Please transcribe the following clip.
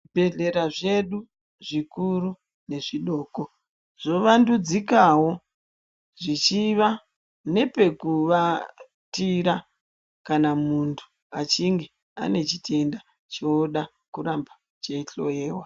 Zvibhedhlera zvedu zvikuru nezvidoko zvovandudzikawo zvichiva nepekuvatira kana muntu achinge ane chitenda choda kuramba cheihloyiwa.